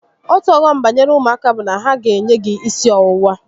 Otu ọghọm banyere ụmụaka bụ na ha ga enye gị gi isi ọwụwa